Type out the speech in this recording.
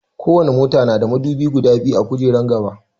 Ko wani mota na da madubi guda biyu a gujeran gaba